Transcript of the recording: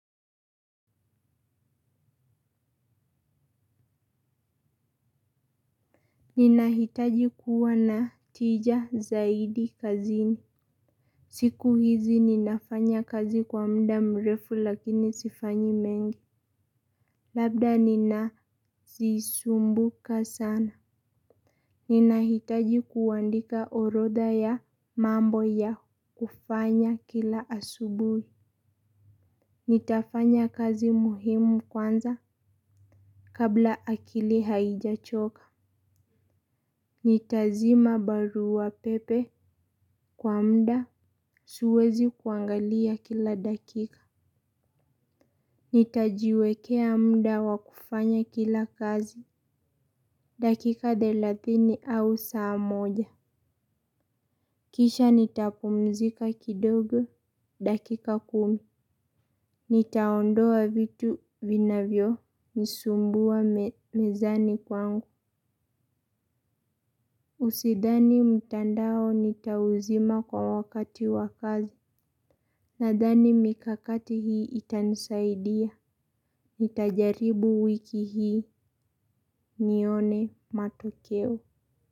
Ninahitaji kuwa na tija zaidi kazini. Siku hizi ninafanya kazi kwa muda mrefu lakini sifanyi mengi. Labda ninazisumbuka sana. Ninahitaji kuandika orodha ya mambo ya kufanya kila asubuhi. Nitafanya kazi muhimu kwanza kabla akili haijachoka. Nitazima barua pepe kwa muda. Siwezi kuangalia kila dakika. Nitajiwekea muda wa kufanya kila kazi. Dakika thelathini au saa moja kisha nitapumzika kidogo dakika kumi. Nitaondoa vitu vinavyonisumbua mezani kwangu Usidhani mtandao nitauzima kwa wakati wa kazi. Nadhani mikakati hii itanisaidia. Nitajaribu wiki hii nione matokeo.